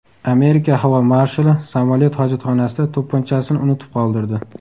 Amerika havo marshali samolyot hojatxonasida to‘pponchasini unutib qoldirdi.